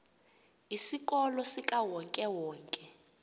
isikolo sikawonke wonke